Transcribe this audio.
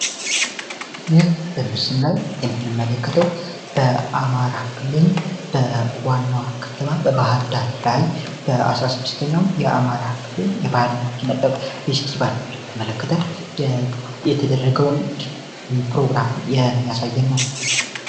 ይህ በምስል ላይ የምንመለከተው በአማራ ክልል በዋናዋ ክትባት በባህር ዳር ላይ በ16ኛው የአማራ ክልል በተመለከተ የተደረገ ፕሮግራም የሚያሳየነው